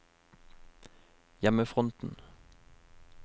hjemmefronten